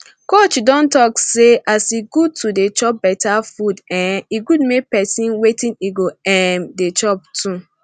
coach don talk say as e good to dey chop better food um e good make person wetin e go um dey chop too